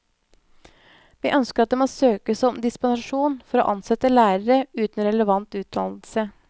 Vi ønsker at det må søkes om dispensasjon for å ansette lærere uten relevant utdannelse.